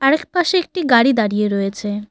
আরেকপাশে একটি গাড়ি দাঁড়িয়ে রয়েছে।